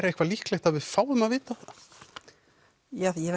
eitthvað líklegt að við fáum að vita það ég